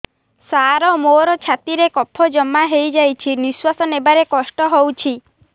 ସାର ମୋର ଛାତି ରେ କଫ ଜମା ହେଇଯାଇଛି ନିଶ୍ୱାସ ନେବାରେ କଷ୍ଟ ହଉଛି